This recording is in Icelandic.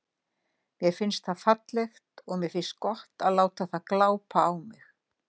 Mér finnst það fallegt og mér finnst gott að láta það glápa á mig.